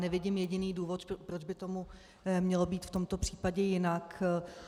Nevidím jediný důvod, proč by tomu mělo být v tomto případě jinak.